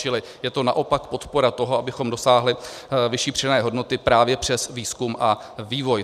Čili je to naopak podpora toho, abychom dosáhli vyšší přidané hodnoty právě přes výzkum a vývoj.